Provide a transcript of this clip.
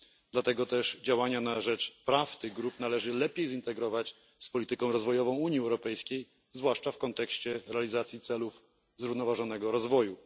Dlatego też działania na rzecz praw tych grup należy lepiej zintegrować z polityką rozwojową Unii Europejskiej, zwłaszcza w kontekście realizacji celów zrównoważonego rozwoju.